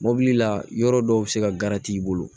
Mɔbili la yɔrɔ dɔw be se ka kariti i bolo